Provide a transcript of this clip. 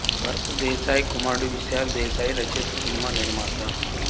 భరత్ దేశాయ్ కుమారుడు విశాల్ దేశాయ్ రచయిత సినిమా నిర్మాత